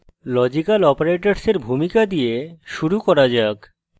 logical অপারেটরসের ভূমিকা দিয়ে শুরু করা যাক